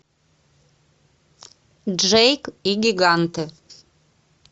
джейк и гиганты